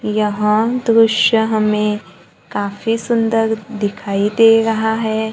यह दृश्य हमें काफी सुंदर दिखाई दे रहा है।